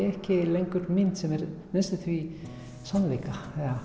ekki lengur mynd sem er næstum því sannleikurinn